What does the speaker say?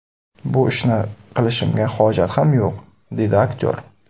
Bu ishni qilishimga hojat ham yo‘q!”, dedi aktyor.